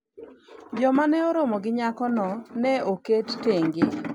joma ne oromo gi nyako no ne oket thenge